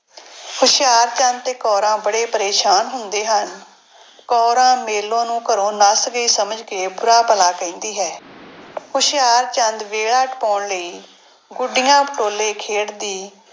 ਹੁਸ਼ਿਆਰਚੰਦ ਤੇ ਕੌਰਾਂ ਬੜੇ ਪਰੇਸਾਨ ਹੁੰਦੇ ਹਨ। ਕੌਰਾਂ ਮੇਲੋ ਨੂੰ ਘਰੋਂ ਨੱਸ ਗਈ ਸਮਝ ਕੇ ਬੁਰਾ ਭਲਾ ਕਹਿੰਦੀ ਹੈ। ਹੁਸ਼ਿਆਰਚੰਦ ਵੇਲਾ ਟਪਾਉਣ ਲਈ ਗੁੱਡੀਆਂ ਪਟੋਲੇ ਖੇਡਦੀ,